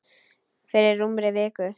Fyrir rúmri viku.